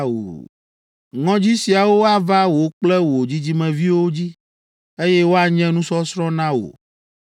Ŋɔdzinu siawo ava wò kple wò dzidzimeviwo dzi, eye woanye nusɔsrɔ̃ na wò.